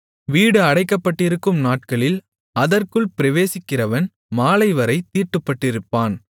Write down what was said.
வீடு அடைக்கப்பட்டிருக்கும் நாட்களில் அதற்குள் பிரவேசிக்கிறவன் மாலைவரைத் தீட்டுப்பட்டிருப்பான்